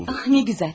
Ay nə gözəl.